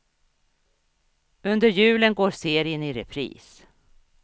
Under julen går serien i repris.